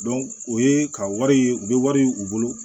o ye ka wari ye u bɛ wari u bolo